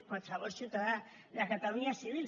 qualsevol ciutadà de catalunya és civil